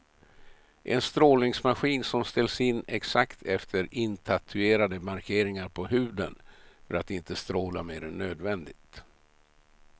En strålningsmaskin som ställs in exakt efter intatuerade markeringar på huden för att inte stråla mer än nödvändigt.